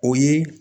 O ye